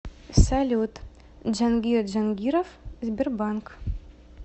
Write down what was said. салют джангир джангиров сбербанк